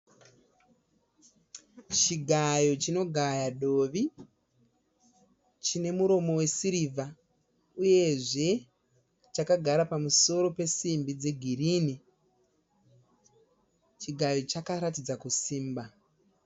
Chigayo chinogaya dovi chine muromo wesirivha. Uyezve chakagara pamusoro pesimbi dzegirini. Chigayo chakaratidza kusimba.